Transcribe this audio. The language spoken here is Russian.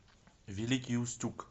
великий устюг